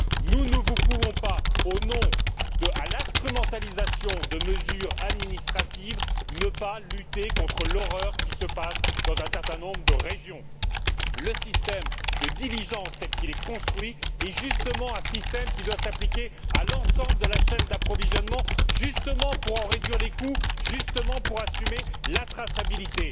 Nous ne pouvons pas, au nom de l'instrumentalisation de mesures administratives, ne pas lutter contre l'horreur qui règne dans un certain nombre de régions. Le système de diligence tel qu'il est construit est justement un système qui doit s'appliquer à l'ensemble de la chaîne d'approvisionnement, justement pour en réduire les coûts, et justement pour assurer la traçabilité.